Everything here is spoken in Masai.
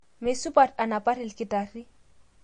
Meisupat anapar lkitari